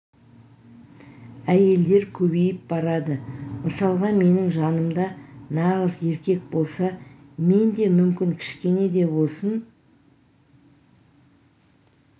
әйелдер көбейіп барады мысалға менің жанымда нағыз еркек болса мен де мүмкін кішкене де болсын